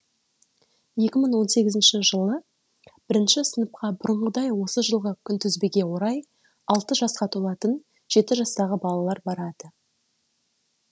екі мың он сегізінші жылы бірінші сыныпқа бұрынғыдай осы жылғы күнтізбеге орай алты жасқа толатын жеті жастағы балалар барады